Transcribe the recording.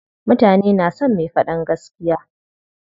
Mutane na son me faɗan gaskiya.